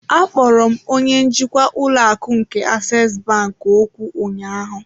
Akpọrọ m onye njikwa ụlọ akụ nke aseesi bank okwu ụnyaahụ.